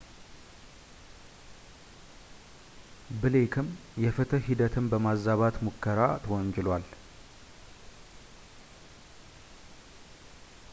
ብሌክም የፍትሕ ሂደትን በማዛባት ሙከራ ተወንጅሏል